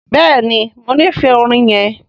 Béèni mọ n'ifẹ orin yén.